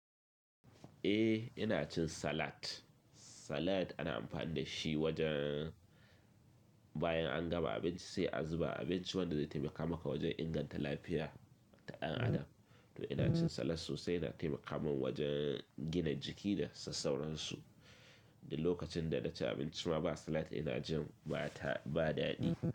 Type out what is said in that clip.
Eh ina cin salat. Salat ana amfani da shi wajen bayan an gama abinci sai a zuba abinci wanda zai taimaka maka wajen inganta lafiya ta ɗan adam. To ina cin salat sosai, yana taimaka min wajen gina jiki da sassauransu. Duk lokacin da na ci abinci ma ba salat ina jin ba ta ba daɗi.